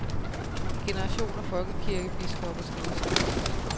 En generation af folkekirkebiskopper skal udskiftes.